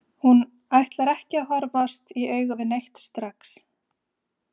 Hún ætlar ekki að horfast í augu við neitt strax.